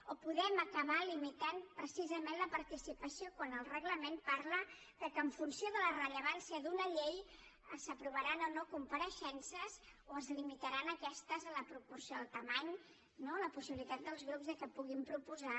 o podem acabar limitant precisament la participació quan el reglament parla que en funció de la rellevància d’una llei s’aprovaran o no compareixences o es limitaran aquestes a la proporció a la dimensió la possibilitat dels grups que puguin proposar